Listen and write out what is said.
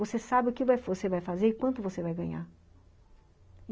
Você sabe o que você vai fazer e quanto você vai ganhar.